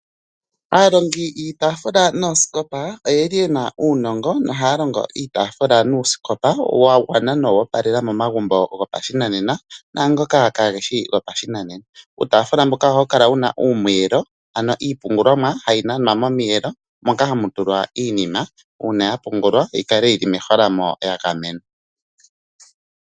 Aalongi yii tafula nooskopa oyeli yena uunongo no haya longo iitafula nuuskopa wagwana noowo palela momagumbo go pashinanena nangoka ka geshi go pashinanena. Uutafula mboka ohawu kala wuna uumwelo ano iipungulomwa ohayi nanwa momiyelo monka hamu tulwa iinima uuna yapungulwa yi kale yili me holamo ya gamenwa.